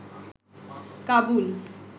Kabul